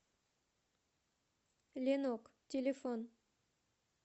ленок телефон